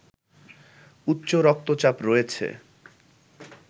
উচ্চ রক্তচাপ রয়েছে